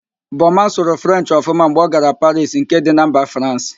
Boma sụrụ Frenchị ọfụma mgbe ọ gara Parisi nke dị na mba Fransị